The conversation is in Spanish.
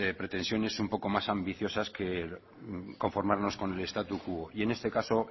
pretensiones un poco más ambiciosas que conformarnos con el statu quo y en este caso